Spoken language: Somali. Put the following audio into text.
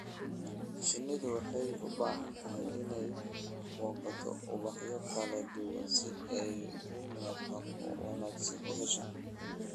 Shinnidu waxay u baahan tahay inay booqato ubaxyo kala duwan si ay nafaqo wanaagsan u hesho.